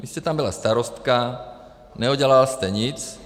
Vy jste tam byla starostkou, neudělala jste nic.